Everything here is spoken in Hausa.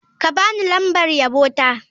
Ka ba ni lambar yabo ta.